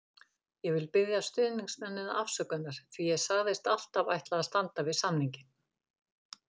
Ég vil biðja stuðningsmennina afsökunar því ég sagðist alltaf ætla að standa við samninginn.